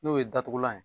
N'o ye datugulan ye